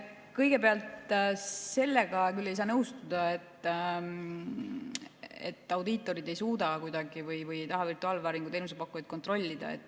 Kõigepealt, sellega küll ei saa nõustuda, et audiitorid ei suuda või ei taha virtuaalvääringu teenuse pakkujaid kontrollida.